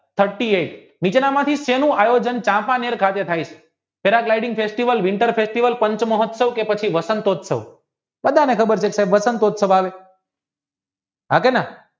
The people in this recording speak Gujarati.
thirty eight નીચેના માંથી શેનું આયોજન કાસનેર સાથે થાય છે પાંચ મહોત્સવ કે વસંતોત્સવ બધાને ખબર છે કે વસંતયુત્સવઃ આવે હા તેને